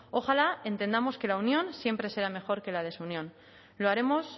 ojalá entendamos que la unión siempre será mejor que la desunión y lo haremos